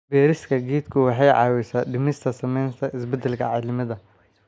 Beerista geedku waxay caawisaa dhimista saamaynta isbeddelka cimilada.